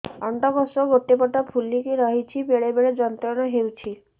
ଅଣ୍ଡକୋଷ ଗୋଟେ ପଟ ଫୁଲିକି ରହଛି ବେଳେ ବେଳେ ଯନ୍ତ୍ରଣା ହେଉଛି